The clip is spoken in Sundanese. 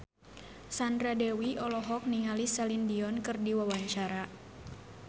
Sandra Dewi olohok ningali Celine Dion keur diwawancara